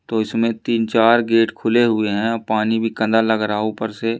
तो इसमें तीन चार गेट खुले हुए हैं पानी भी लग रहा है ऊपर से।